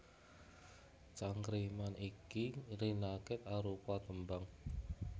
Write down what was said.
Cangkriman iki rinakit arupa tembang